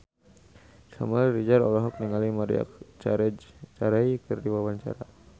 Samuel Rizal olohok ningali Maria Carey keur diwawancara